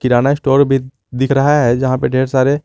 किराना store भी दिख रहा है जहां पे ढेर सारे--